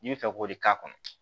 N'i bɛ fɛ k'o de k'a kɔnɔ